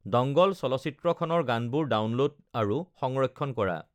dongle চলচ্চিত্ৰখনৰ গানবোৰ download আৰু সংৰক্ষণ কৰা